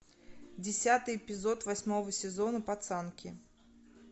десятый эпизод восьмого сезона пацанки